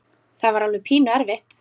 Það var alveg pínu erfitt.